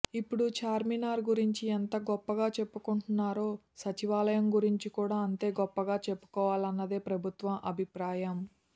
ఇప్పుడు చార్మినార్ గురించి ఎంత గొప్పగా చెప్పుకుంటున్నారో సచివాలయం గురించి కూడా అంతే గొప్పగా చెప్పుకోవాలన్నది ప్రభుత్వం అభిప్రాయం